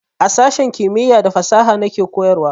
A sashen kimiya da fasaha na ke koyarwa